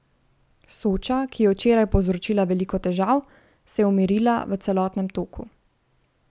Soča, ki je včeraj povzročila veliko težav, se je umirila v celotnem toku.